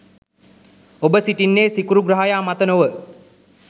ඔබ සිටින්නේ සිකුරු ග්‍රහයා මත නොව.